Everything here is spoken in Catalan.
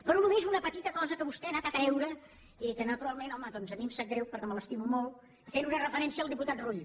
però només una petita cosa que vostè ha tret i que naturalment home doncs a mi em sap greu perquè me l’estimo molt fent una referència al diputat rull